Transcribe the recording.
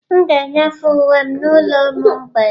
M ga-enyefe uwe m n'ụlọ ụmụ mgbei